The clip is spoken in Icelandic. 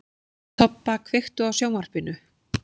Tobba, kveiktu á sjónvarpinu.